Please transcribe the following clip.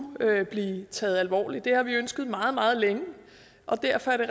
blive taget alvorligt det har vi ønsket meget meget længe og derfor er det